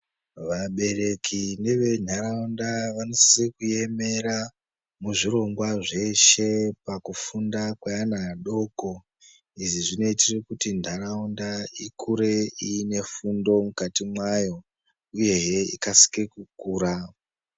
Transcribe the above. Vabereki nevenharaunda vanosisa kuemera muzvirongwa zveshe pakufunda kwevana adoko izvi zvinoitira kuti nharaunda ikure inefundo mukati mwayo uyehee ikasike kukura